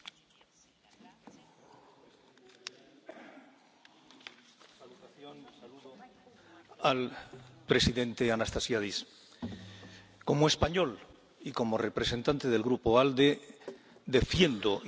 Señor presidente, señor presidente Anastasiades, como español y como representante del Grupo ALDE defiendo y defendemos la absoluta y radical unidad de la República de Chipre.